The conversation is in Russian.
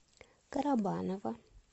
карабаново